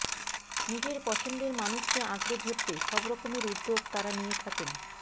নিজের পছন্দের মানুষকে আঁকড়ে ধরতে সবরকমের উদ্যোগ তাঁরা নিয়ে থাকেন